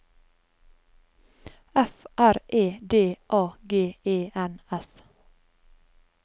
F R E D A G E N S